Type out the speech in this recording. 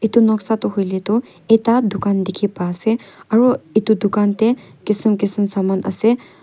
Etu noksa toh hoile toh ekta dukan dekhi pa ase aro etu dukan tey kisam kisam saman ase.